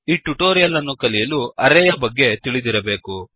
ಈ ಟ್ಯುಟೋರಿಯಲ್ ಅನ್ನು ಕಲಿಯಲು ಅರೇಯ ಬಗ್ಗೆ ತಿಳಿದಿರಬೇಕು